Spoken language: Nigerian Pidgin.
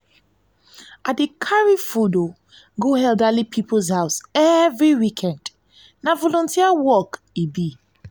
i dey carry food go elderly people’s house every week na volunteer work e be